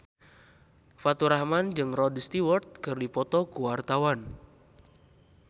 Faturrahman jeung Rod Stewart keur dipoto ku wartawan